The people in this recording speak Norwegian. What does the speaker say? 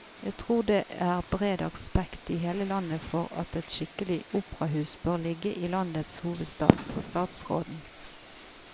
Jeg tror det er bred aksept i hele landet for at et skikkelig operahus bør ligge i landets hovedstad, sa statsråden.